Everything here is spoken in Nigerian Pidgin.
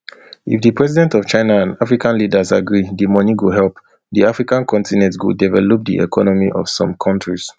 if di president of china and african leaders agree di money go help di africa continent to develop di economy of some kontris